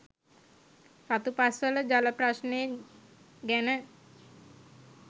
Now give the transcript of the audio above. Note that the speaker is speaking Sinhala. රතුපස්වල ජල ප්‍රශ්නය ගැන